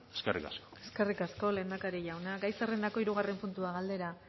eskerrik asko eskerrik asko lehendakari jauna gai zerrendako hirugarren puntua galdera